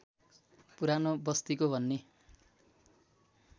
पुरानो बस्तिको भन्ने